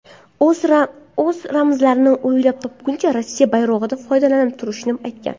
O‘z ramzlarini o‘ylab topgunicha Rosssiya bayrog‘idan foydalanib turishini aytgan.